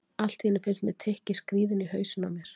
Allt í einu finnst mér tikkið skríða inn í hausinn á mér.